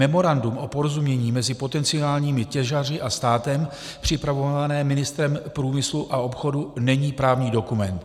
Memorandum o porozumění mezi potenciálními těžaři a státem připravované ministrem průmyslu a obchodu není právní dokument.